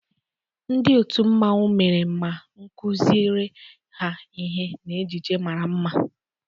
Ndị otu mmanwu mere ma kụziere ha ihe na ejiji mara mma.